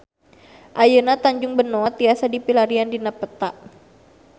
Ayeuna Tanjung Benoa tiasa dipilarian dina peta